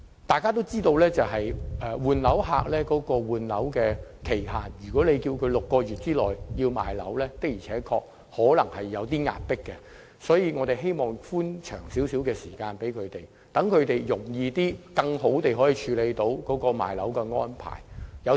大家也知道，在換樓期限方面，要求換樓人士在6個月內出售物業在時間上的確有點緊迫，所以希望可以延長寬限期，讓他們較易並更好地作出出售物業的安排。